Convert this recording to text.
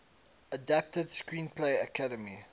adapted screenplay academy